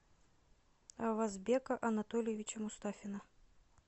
авазбека анатольевича мустафина